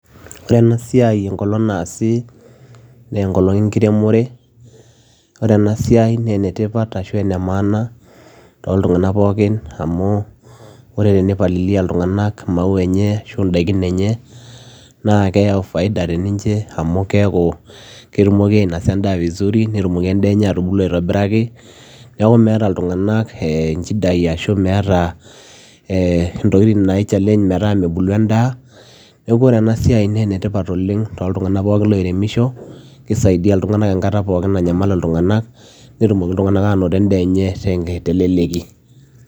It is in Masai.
Ore ena siai enkolong' naasi naa enkolong' enkiremore ore ena siai naa enetipata ashu aa ene maana toltung'anak pookin amu ore tenipalilia iltunganak imaua enye ashu ndaikin enye naa keyau faida teninche amu keeku ketumoki ainosa endaa vizuri netumoki endaa enye atubulu aitobiraki neeku meeta iltung'anak nchidai ashu meeta ntokitin naichallenge metaa mebulu endaa neeku ore ena siai naa enetipat oleng' toltung'anak pookin loiremisho kisaidia iltung'anak enkata pookin nanyamal iltung'anak netumoki iltung'anak aanoto endaa enye teleleki.